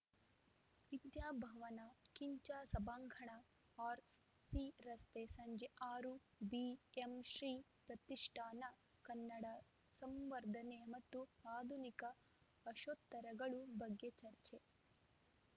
ವಿದ್ಯಾಭವನದ ಖಿಂಚ ಸಭಾಂಗಣ ಆರ್‌ಸಿರಸ್ತೆ ಸಂಜೆ ಆರು ಬಿಎಂಶ್ರೀ ಪ್ರತಿಷ್ಠಾನ ಕನ್ನಡ ಸಂವರ್ಧನೆ ಮತ್ತು ಆಧುನಿಕ ಆಶೋತ್ತರಗಳು ಬಗ್ಗೆ ಚರ್ಚೆ